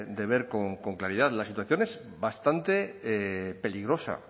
de ver con claridad la situación es bastante peligrosa